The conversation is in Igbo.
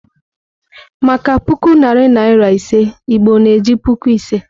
Maka puku narị naịra ise, Igbo na-eji "Puku Ise."